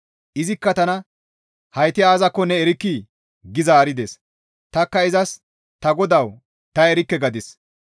Izikka taas, «Hayti aazakko ne erkkii?» gi zaarides. Tanikka izas, «Ta godawu! Ta erikke» gadis.